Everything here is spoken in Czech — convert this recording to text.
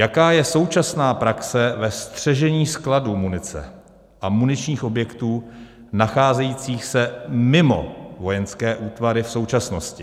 Jaká je současná praxe ve střežení skladů munice a muničních objektů nacházejících se mimo vojenské útvary v současnosti?